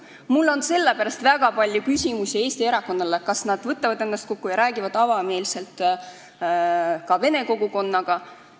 Mul on väga palju küsimusi Eesti erakondadele, kas nad võtavad ennast kokku ja räägivad avameelselt ka vene kogukonnaga.